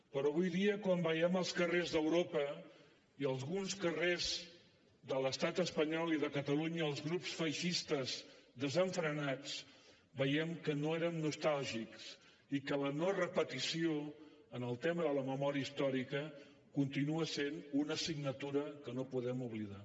però avui dia quan veiem als carrers d’europa i alguns carrers de l’estat espanyol els grups feixistes desenfrenats veiem que no érem nostàlgics i que la no repetició en el tema de la memòria històrica continua sent una assignatura que no podem oblidar